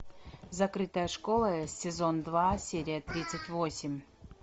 закрытая школа сезон два серия тридцать восемь